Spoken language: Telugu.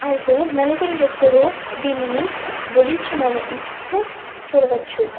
అయితే నలుగురు వ్యక్తులు దీనిని భుజించి చూడవచ్చు.